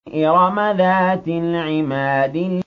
إِرَمَ ذَاتِ الْعِمَادِ